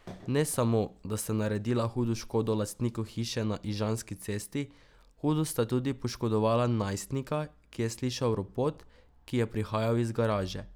Ne samo, da sta naredila hudo škodo lastniku hiše na Ižanski cesti, hudo sta tudi poškodovala najstnika, ki je slišal ropot, ki je prihajal iz garaže.